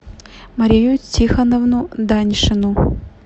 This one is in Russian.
марию тихоновну даньшину